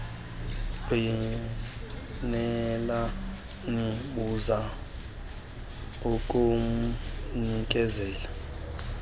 ngqinelani buza kumnikezeli